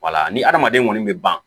Wala ni hadamaden kɔni bɛ ban